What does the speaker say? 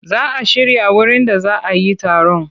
Za a shirya wurin da za a yi taron.